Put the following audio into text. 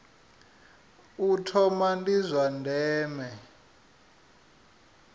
u thoma ndi zwa ndeme